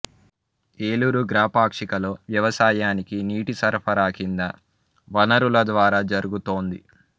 ఏలూరు గ్రా పాక్షికలో వ్యవసాయానికి నీటి సరఫరా కింది వనరుల ద్వారా జరుగుతోంది